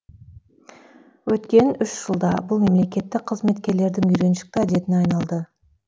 өткен үш жылда бұл мемлекеттік қызметкерлердің үйреншікті әдетіне айналды